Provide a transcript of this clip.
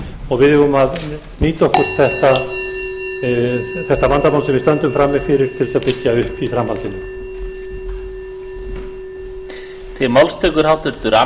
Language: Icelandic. og við eigum að nýta okkur þetta vandamál sem við stöndum frammi fyrir til þess að byggja upp í framhaldinu